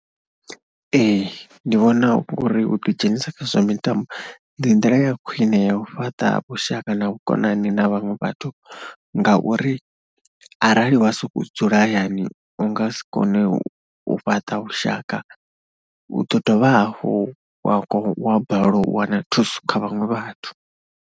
Ee ndi vhona uri u ḓidzhenisa kha zwa mitambo ndi ndila ya khwine ya u fhaṱa vhushaka na vhukonani na vhaṅwe vhathu, ngauri arali wa sokou dzula hayani u nga si kone u fhaṱa vhushaka, u ḓo dovha hafhu wa wa balelwa u wana thuso kha vhaṅwe vhathu.